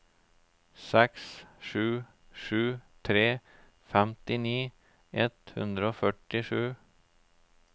seks sju sju tre femtini ett hundre og førtisju